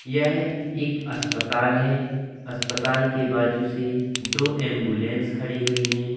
यह एक अस्पताल है अस्पताल के बाजू से दो एम्बुलेंस खड़ी हुई है।